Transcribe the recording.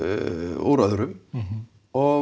úr öðrum og